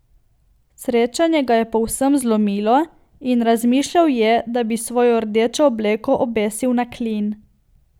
Srečanje ga je povsem zlomilo in razmišljal je, da bi svojo rdečo obleko obesil na klin.